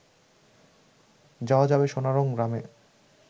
যাওয়া যাবে সোনারং গ্রামে